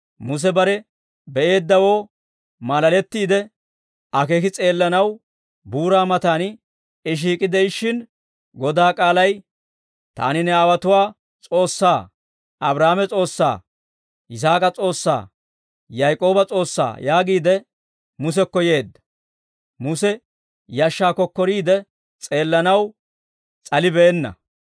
Muse bare be'eeddawoo maalalettiide, akeeki s'eellanaw buuraa mataan I shiik'i de'ishshin, Godaa k'aalay, ‹Taani ne aawotuwaa S'oossaa, Abraahaame S'oossaa, Yisaak'a S'oossaa, Yaak'ooba S'oossaa› yaagiide Musekko yeedda. Muse yashshaa kokkoriide, s'eellanaw s'alibeenna.